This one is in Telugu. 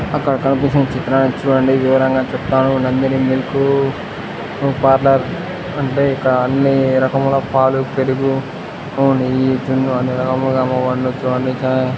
అక్కడ కనిపిస్తున్న చిత్రాన్ని చూడండి ఉమా పార్లర్ అంటే ఇక్కడ అని రకముల పాలు పెరుగు నెయ్యి జున్ను అన్ని రకములు అమ్మబడును. సో అందుకే ]